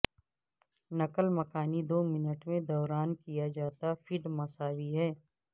نقل مکانی دو منٹ کے دوران کیا جاتا فیڈ مساوی ہے